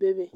bebe.